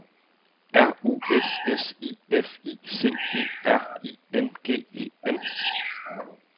R U S S I F I C E R I N G E N